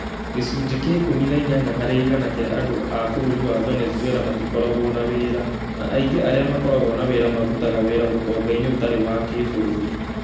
Gĩcunjĩ kĩa ikumi na inyanya harĩ igana kia andu a bũrũri-inĩ wa Venezuela matikoragwo na wĩra, na aingĩ arĩa makoragwo na wĩra marutaga wĩra ũtonga-inĩ ũtarĩ wa kĩbũrũri